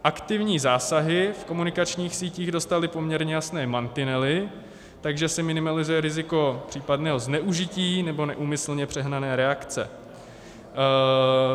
Aktivní zásahy v komunikačních sítích dostaly poměrně jasné mantinely, takže se minimalizuje riziko případného zneužití nebo neúmyslně přehnané reakce.